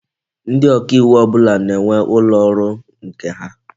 Ndi oka iwu ọbụla na-enwe ụlọ ọrụ nke ha.